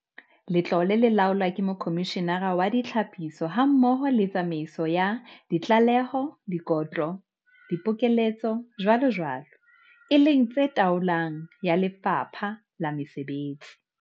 Letlole le laolwa ke Mokhomishenara wa Ditlhaphiso hammoho le tsamaiso ya ditlaleho, dikotlo, dipokeletso, jwalojwalo, e leng tse taolong ya Lefapha la Mesebetsi.